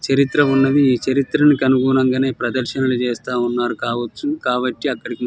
చరిత్ర వున్నది. ఈ చరిత్ర కి అనుగున్లగానే ప్రదర్శనల్లు చేస్తూ వున్నారు కావొచ్చు కాబటి అక్కడికి --